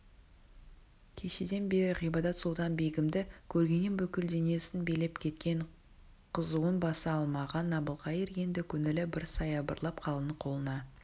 кешеден бері ғибадат-сұлтан-бегімді көргеннен бүкіл денесін билеп кеткен қызуын баса алмаған әбілқайыр енді көңілі бір саябырлап қалың қолына